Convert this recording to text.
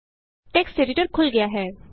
text editor ਖੁਲ ਗਿਆ ਹੈ